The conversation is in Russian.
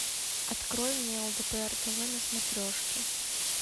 открой мне лдпр тв на смотрешке